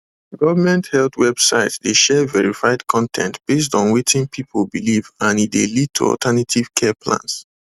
government health websites dey share verified con ten t based on wetin people believe and e dey lead to alternative care plans